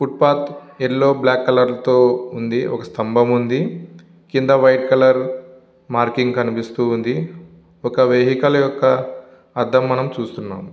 Foot path yellow black colour తో ఉంది ఒక స్తంభము ఉంది కింద వైట్ కలర్ మార్కింగ్ కనిపిస్తూ ఉంది ఒక వెహికల్ యొక్క అద్దం మనం చూస్తున్నాం.